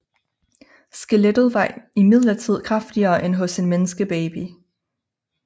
Skelettet var imidlertid kraftigere end hos en menneskebaby